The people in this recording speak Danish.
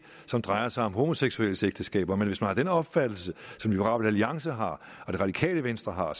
som drejer sig om homoseksuelles ægteskaber men hvis man har den opfattelse som liberal alliance har og det radikale venstre har